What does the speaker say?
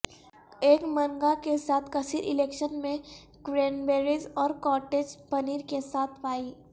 ایک منگا کے ساتھ کثیر الیکشن میں کرینبیریز اور کاٹیج پنیر کے ساتھ پائی